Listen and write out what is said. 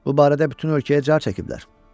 Bu barədə bütün ölkəyə car çəkiblər.